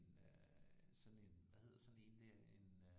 En øh sådan en hvad hedder sådan en der en øh